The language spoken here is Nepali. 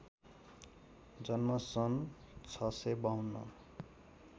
जन्म सन् ६५२